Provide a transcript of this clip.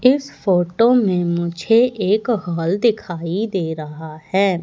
इस फोटो में मुझे एक हॉल दिखाई दे रहा है।